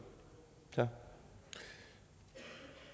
det for